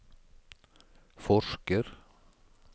forsker